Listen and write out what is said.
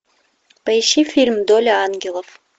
поищи фильм доля ангелов